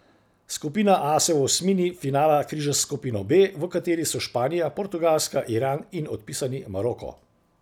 Skupina A se v osmini finala križa s skupino B, v kateri so Španija, Portugalska, Iran in odpisani Maroko.